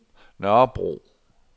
Nørrebro